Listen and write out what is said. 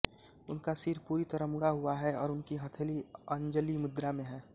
उनका सिर पूरी तरह मूड़ा हुआ है और उनकी हथेली अंजलिमुद्रा में है